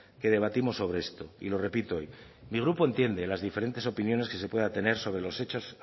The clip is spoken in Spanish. que debatimos sobre esto y lo repito hoy mi grupo entiende las diferentes opiniones que se pueda tener sobre los hechos